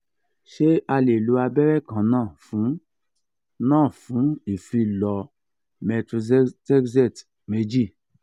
ṣé a lè lo abẹ́rẹ́ kan náà fún náà fún ìfilọ methotrexate méjì?